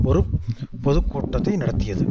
ஒரு பொதுக்கூட்டத்தை நடத்தியது